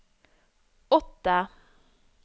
åtte